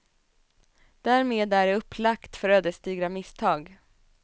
Därmed är det upplagt för ödesdigra misstag.